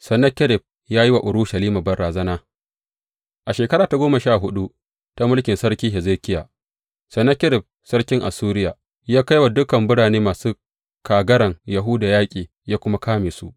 Sennakerib ya yi wa Urushalima barazana A shekara ta goma sha huɗu ta mulkin Sarki Hezekiya, Sennakerib sarkin Assuriya ya kai wa dukan birane masu kagaran Yahuda yaƙi ya kuma kame su.